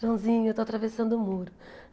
Joãozinho, eu estou atravessando o muro.